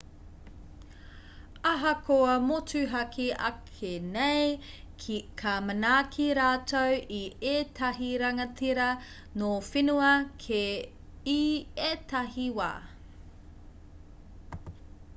ahakoa motuhake ake nei ka manaaki rātou i ētahi rangatira nō whenua kē i ētahi wā